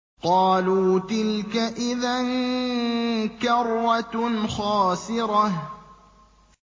قَالُوا تِلْكَ إِذًا كَرَّةٌ خَاسِرَةٌ